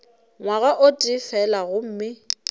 ngwaga o tee fela gomme